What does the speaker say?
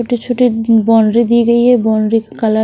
छोटी-छोटी उ बाउंड्री दी गई है बाउंड्री का कलर --